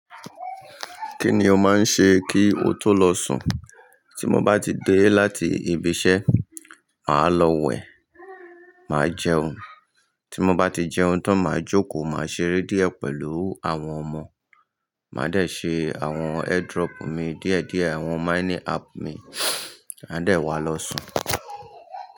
Kí ni o máa ń ṣe kí o tó lọ sùn? Tí mo bá ti dé láti ibiṣẹ́, màá lọ wẹ̀, màá jẹun. Tí mo bá ti jẹun tán, màá jókòó, màá ṣeré díẹ̀ pẹ̀lú àwọn ọmọ. Màá dẹ̀ ṣe àwọn airdrop mi díẹ̀ díẹ̀, àwọn mining app mi, màá dẹ̀ wá lọ sùn.